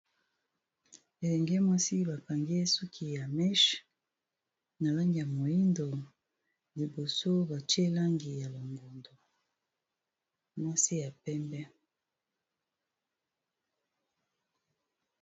Elenge mwasi ba kangi ye suki ya mèche, na langi ya moyindo, liboso ba tié langi ya longondo, mwasi ya pembe .